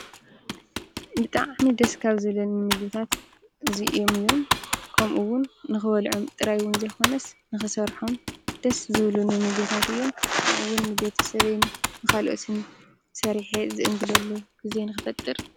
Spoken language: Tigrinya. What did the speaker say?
ብጣዕም ደሰ ካብዚቢሊኑምግቢታት አዚኦሞ አዮሞ ኒከበሎዖሞ ጣራሓ ዘይኮነሰ ኒከሰሮሖሞ ደሰዚቢሊኒ መገቢታት አዮም ኒኩሉ ቤትሰብኒካሎትነ ሰርሕ ዚእኒግዲኒ ግዜ ኒክፈጥረ::